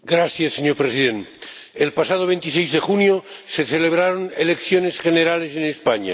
Señor Presidente, el pasado 26 de junio se celebraron elecciones generales en España.